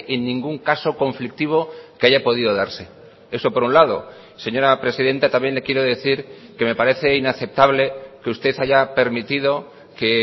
en ningún caso conflictivo que haya podido darse eso por un lado señora presidenta también le quiero decir que me parece inaceptable que usted haya permitido que